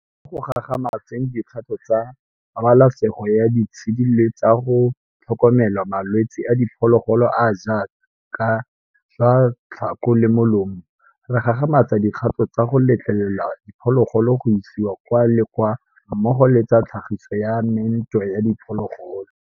Mo go gagamatseng dikgato tsa pabalesego ya ditshedi le tsa go tlhokomela malwetse a diphologolo a a jaaka jwa tlhako le molomo, re gagamatsa dikgato tsa go letlelela diphologolo go isiwa kwa le kwa mmogo le tsa tlhagiso ya meento ya diphologolo.